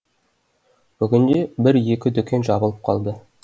бүгінде бір екі дүкен жабылып қалды